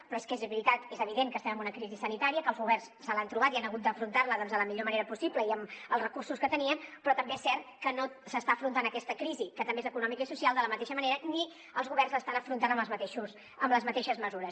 però és que és veritat és evident que estem en una crisi sanitària que els governs se l’han trobat i han hagut d’afrontar la doncs de la millor manera possible i amb els recursos que tenien però també és cert que no s’està afrontant aquesta crisi que també és econòmica i social de la mateixa manera ni els governs l’estan afrontant amb les mateixes mesures